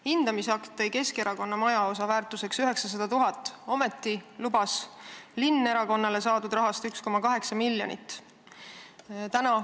Hindamisakti järgi oli Keskerakonna majaosa väärtuseks 900 000, ometi lubas linn saadud rahast erakonnale 1,8 miljonit.